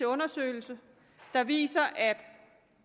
undersøgelse der viser at